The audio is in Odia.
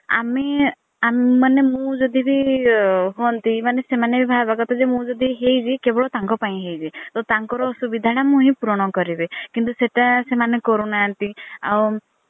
ଆମେ ମାନେ ମୁଁ ଯଦି ବି ହନ୍ତି ମାନେ ସେମାନେ ବି ଭାବିବା କଥା କି ମୁଁ ଯଦି ହେଇଛି କେବଳ ତାଙ୍କ ପାଇଁ ହେଇଛି। ତାଙ୍କର ଆସୁବିଧା ଟା ମୁଁ ହିଁ ପୁରଣ କରିବି କିନ୍ତୁ ସେଟା ସେମାନେ କରୁନାହାନ୍ତି ଆଉ